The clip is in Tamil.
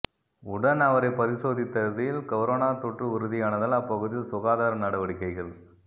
உடன் அவரை பரிசோதித்ததில் கொரோனா தொற்று உறுதியானதால் அப்பகுதியில் சுகாதார நடவடிக்கைகள்